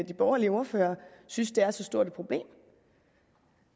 de borgerlige ordførere synes det er så stort et problem